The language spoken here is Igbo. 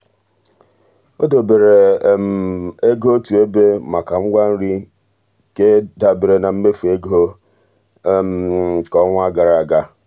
o debere ego otu ebe maka ngwa nri ke dabeere na mmefu ego nke ọnwa gara aga.